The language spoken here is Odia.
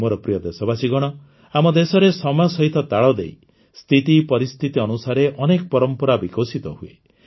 ମୋର ପ୍ରିୟ ଦେଶବାସୀଗଣ ଆମ ଦେଶରେ ସମୟ ସହିତ ତାଳଦେଇ ସ୍ଥିତି ପରିସ୍ଥିତି ଅନୁସାରେ ଅନେକ ପରମ୍ପରା ବିକଶିତ ହୁଏ